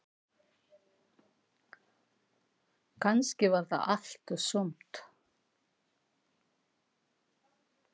Kannski var það allt og sumt.